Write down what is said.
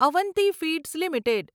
Avanti feeds limited